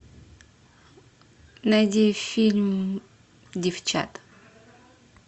найди фильм девчата